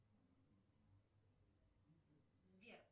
сбер